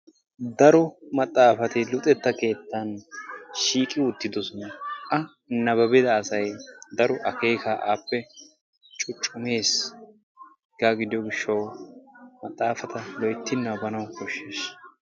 Daro maxaafati luxetta keettan de"oosoana. Akka nababbida asay daro akeekaa appe cuucumees, Hegaa giddiyo gidyo gishawu maxaafata loyti nababanawu koshees.